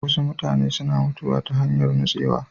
Wasu mutane suna mutuwa ta hanyar nutsewa.